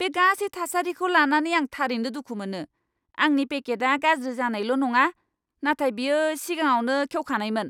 बे गासै थासारिखौ लानानै आं थारैनो दुखु मोनो। आंनि पेकेटआ गाज्रि जानायल' नङा, नाथाय बेयो सिगाङावनो खेवखानायमोन!